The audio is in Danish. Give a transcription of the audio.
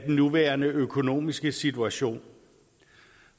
nuværende økonomiske situation